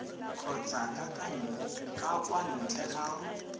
kgotsa ka kwa ntle ga